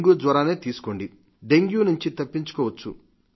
dengue జ్వరాన్నే తీసుకోండి dengue నుండి తప్పించుకోవచ్చు